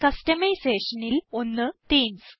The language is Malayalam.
customisationൽ ഒന്ന് തീംസ്